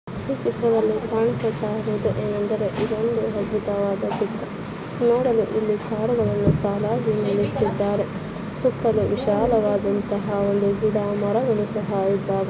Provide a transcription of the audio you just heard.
ಈ ಚಿತ್ರದಲ್ಲಿ ಕಾಣಿಸುತ್ತಾ ಇರುವುದು ಏನೆಂದರೆ ಇದೊಂದು ಅದ್ಭುತವಾದ ಚಿತ್ರ ನೋಡಲು ಇಲ್ಲಿ ಕಾರುಗಳನ್ನು ಸಾಲಾಗಿ ನಿಲ್ಲಿಸಿದ್ದಾರೆ ಸುತ್ತಲೂ ವಿಶಾಲವಾದಂತಹ ಒಂದು ಗಿಡ ಮರಗಳು ಸಹ ಇದ್ದಾವೆ.